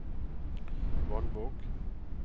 Vannvåg